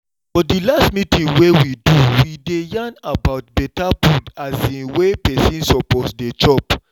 for the last meeting wey we do we dey yarn about better food um wey person suppose dey chop